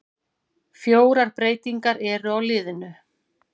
Fjórar breytingar eru á liðinu.